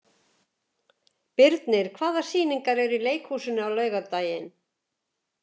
Birnir, hvaða sýningar eru í leikhúsinu á laugardaginn?